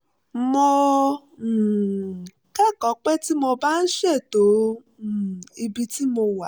mo um kẹ́kọ̀ọ́ pé tí mo bá ń ṣètò um ibi tí mo wà